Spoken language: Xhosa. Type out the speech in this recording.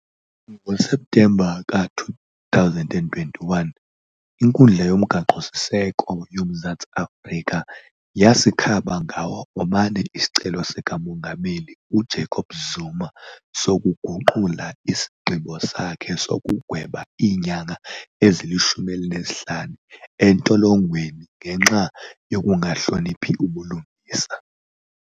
NgoSeptemba ka-2021, iNkundla yoMgaqo-siseko yoMzantsi Afrika yasikhaba ngaw 'omane isicelo sikaMongameli uJacob Zuma sokuguqula isigqibo sakhe sokugweba iinyanga ezili-15 entolongweni ngenxa yokungahloniphi ubulungisa.